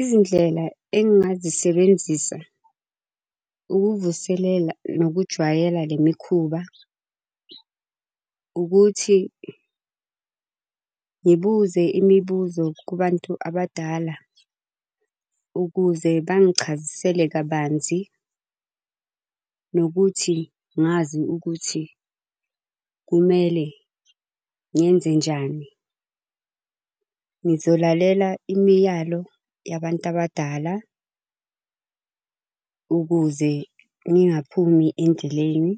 Izindlela engingazisebenzisa ukuvuselela nokujwayela le mikhuba ukuthi ngibuze imibuzo kubantu abadala ukuze bangichazisele kabanzi, nokuthi ngazi ukuthi kumele ngenzenjani. Ngizolalela imiyalo yabantu abadala, ukuze ngingaphumi endleleni